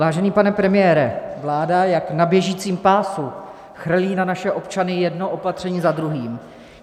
Vážený pane premiére, vláda jak na běžícím pásu chrlí na naše občany jedno opatření za druhým.